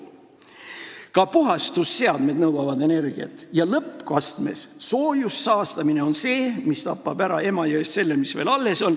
Ka puhastusseadmed nõuavad energiat ja lõppastmes on soojussaastamine see, mis tapab ära Emajões selle, mis veel alles on.